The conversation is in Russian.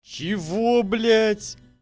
чего блять